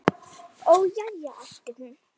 Ó, já, æpti hún.